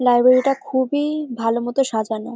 Library টা খুবই ভালো মতো সাজানো।